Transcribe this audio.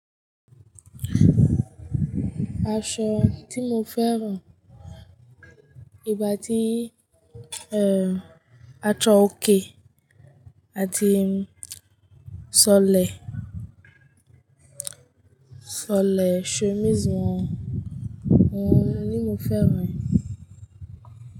Aṣọ tí mo fẹ́ran ìbàdí, a chọ òkè àti ṣọlẹ̀, ṣọlẹ̀ shomizi wọ́n, wọ́n ni mo fẹ́ran.